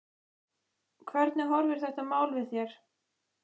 Hvernig horfir þetta mál við þér?